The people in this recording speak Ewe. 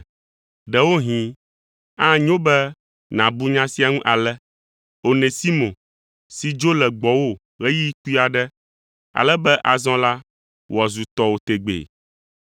Ɖewohĩ, anyo be nàbu nya sia ŋu ale: Onesimo si dzo le gbɔwò ɣeyiɣi kpui aɖe, ale be azɔ la, wòazu tɔwo tegbee.